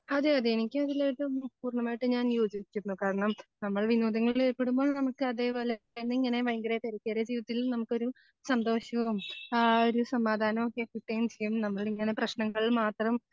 അതെ അതെ എനിക്ക് അതിലേക്ക് പൂർണമായിട്ടും ഞാൻ യോജിക്കുന്നു. കാരണം നമ്മൾ വിനോദങ്ങളിൽ ഏർപ്പെടുമ്പോൾ നമുക്ക് അതേപോലെതന്നെ ഇങ്ങനെ ഭയങ്കര തിരക്കേറിയ ജീവിതത്തിൽ നമുക്കൊരു സന്തോഷവും ആ ഒരു സമാധാനവും ഒക്കെ കിട്ടുകയും ചെയ്യും നമ്മൾ എങ്ങനെ പ്രശ്നങ്ങൾ മാത്രം